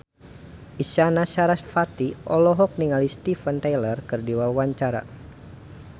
Isyana Sarasvati olohok ningali Steven Tyler keur diwawancara